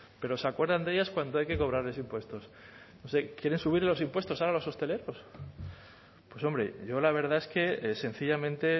pero se acuerdan de ellas cuando hay que cobrarles impuestos quieren subirles los impuestos ahora a los hosteleros pues hombre yo la verdad es que sencillamente